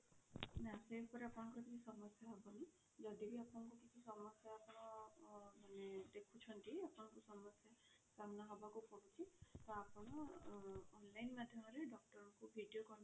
ନା ସେ ଉପରେ ଆପଣଙ୍କର କିଛି ସମସ୍ୟା ହବନି ଯଦି ବି ଆପଣ ଙ୍କୁ କିଛି ସମସ୍ୟା ର ଅ ଦେଖୁଛନ୍ତି ଆପଣଙ୍କୁ ସମସ୍ୟା ସାମ୍ନା ହବାକୁ ପଡୁଛି ତ ଆପଣ online ଅ ମାଧ୍ୟମରେ doctor ଙ୍କୁ video